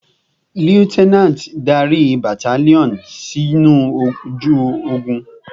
Lieutenant, darí battalion sinu oju ogun!